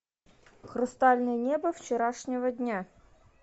хрустальное небо вчерашнего дня